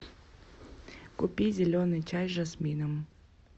купи зеленый чай с жасмином